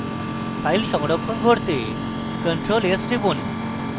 file সংরক্ষণ করতে ctrl + s টিপুন